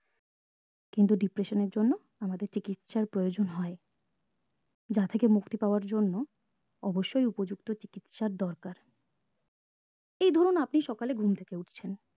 কিন্তু depression এর জন্য আমাদের চিকিৎসার প্রয়োজন হয় যা থেকে মুক্তি পাওয়ার জন্য অবশ্যই উপযুক্ত চিকিৎসার দরকার এই ধরুন আপনি সকালে ঘুরে থেকে উঠছেন